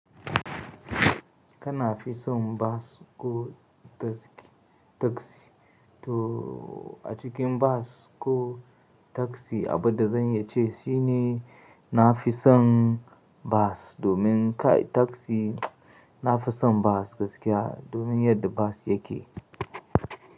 Kana fi son bas ko taski? To a cikin bas ko taski, abin da zan iyace shine na fi son bas domin kai taski, na fi son bas gaskiya, domin yadda bas yake.